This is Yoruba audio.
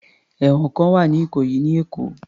Ẹ̀wọ̀n kan wà ní ìkòyí ní Èkó.